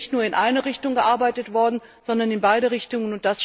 Hier ist nicht nur in eine Richtung gearbeitet worden, sondern in beide Richtungen.